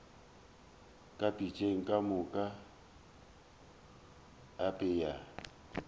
ka pitšeng ka mo apea